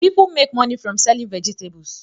People make money from selling vegetables